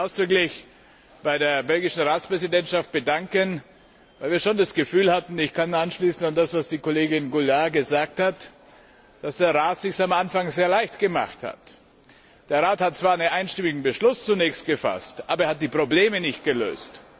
Ich will mich ausdrücklich bei der belgischen Ratspräsidentschaft bedanken, weil wir schon das Gefühl hatten ich kann anschließen an das, was die Kollegin Goulard gesagt hat dass der Rat es sich am Anfang sehr leicht gemacht hat. Der Rat hat zwar zunächst einen einstimmigen Beschluss gefasst, aber er hat die Probleme nicht gelöst.